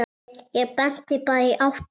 Ég benti bara í áttina.